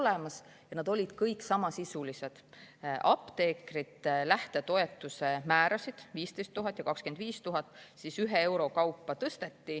Need olid kõik samasisulised: apteekrite lähtetoetuse määrasid 15 000 ja 25 000 tõsteti ühe euro kaupa.